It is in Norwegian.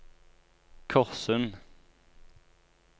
Korssund